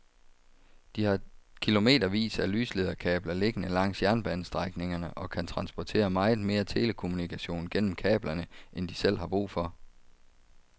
De har kilometervis af lyslederkabler liggende langs jernbanestrækningerne og kan transportere meget mere telekommunikation gennem kablerne end de selv har brug for.